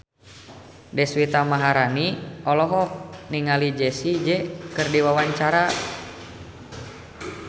Deswita Maharani olohok ningali Jessie J keur diwawancara